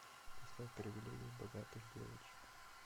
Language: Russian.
поставь привилегии богатых девочек